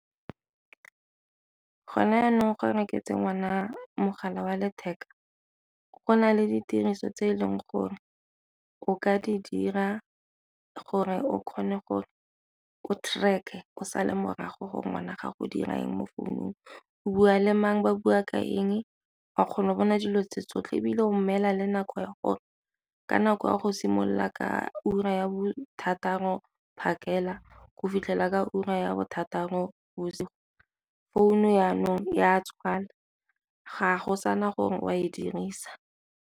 Gone jaanong ga o reketse ngwana mogala wa letheka go na le ditiriso tse e leng gore o ka di dira gore o kgone gore o track-e o sale morago gore ngwana gago o dira eng mo founung, o bua le mang, ba bua ka eng, wa kgona go bona dilo tse tsotlhe ebile o mmela le nako ya gore ka nako ya go simolola ka ura ya bo thataro phakela go fitlhelela ka ura ya bo thataro bosigo phone-u jaanong e a tswala ga go sana gore o a e dirisa.